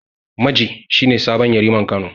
Maje shi ne sabon Yariman Kano.